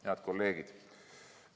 Head kolleegid!